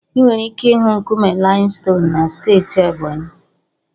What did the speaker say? Ị nwere ike ịhụ nkume limestone na steeti Ebonyi.